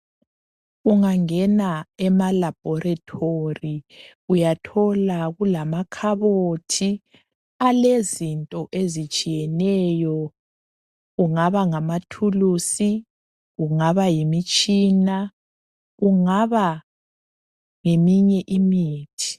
ungangena ema labhorethory uyathola kulamakhabothi alezinto ezitshiyeneyo kungaba ngama thulizi kunga yimitshina kungaba ngeminye imithi